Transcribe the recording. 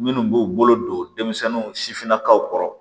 Minnu b'u bolo don denmisɛnninw sifinnakaw kɔrɔ